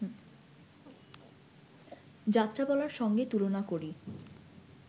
যাত্রাপালার সঙ্গে তুলনা করি